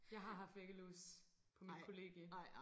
Jeg har haft væggelus på mit kollegie